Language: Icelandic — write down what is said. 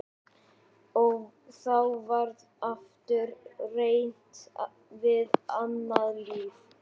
Og þá var aftur reynt við annað lyf.